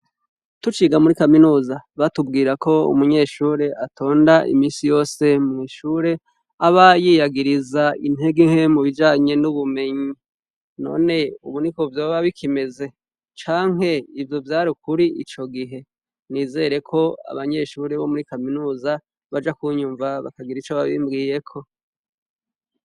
Tuciga muri kaminuza batubwirako umunyeshure atonda imisiyose mwishure aba yiyagiriza intege nke mubijanye nubumenyi none ubu niko vyoba bikimeze canke ivyo vyari ukuri icogihe nizere kwabanyeshure bomuri kaminuza baja kunyumva bakagira ico babimbwiyeko